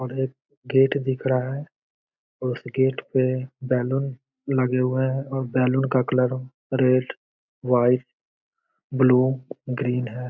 और एक गेट दिख रहा है और उस गेट पे बैलून लगे हुए हैं और बैलून का colour red white blue green है।